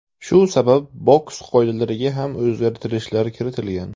Shu sabab boks qoidalariga ham o‘zgartirishlar kiritilgan.